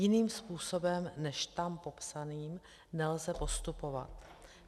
Jiným způsobem než tam popsaným nelze postupovat.